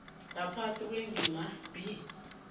ngaphasi kwendima b